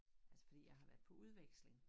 Altså fordi jeg har været på udveksling